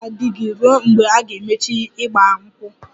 Ebikwala di gị ruo mgbe a ga-emechi 'Igba nkwu'!